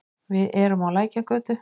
Við erum á Lækjargötu.